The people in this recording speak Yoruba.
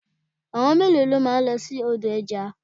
Àwọn mélòó ni o máa lọ sí odò ẹja?